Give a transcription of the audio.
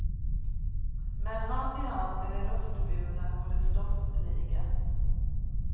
Men hand i hand med det luftburna går det stoffliga.